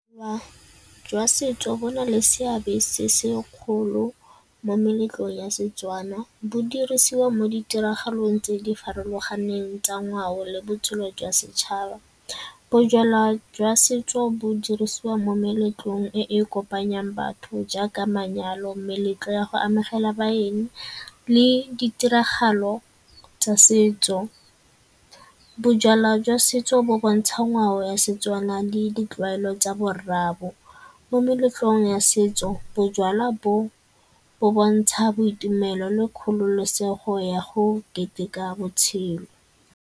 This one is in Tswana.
Wa jwa setso bo na le seabe se se kgolo mo meletlong ya Setswana. Bo dirisiwa mo ditiragalong tse di farologaneng tsa ngwao le botshelo jwa setšhaba. Bojalwa jwa setso bo dirisiwa mo meletlong e e kopanyang batho jaaka manyalo, meletlo ya go amogela baeng le ditiragalo tsa setso. Bojalwa jwa setso bo bontsha ngwao ya Setswana le ditlwaelo tsa bo rraabo. Mo meletlong ya setso bojalwa bo bo bontsha boitumelo le kgololosego ya go keteka botshelo.